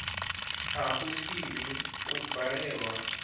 a u sini u balelwa